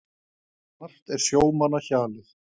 Margt er sjómanna hjalið.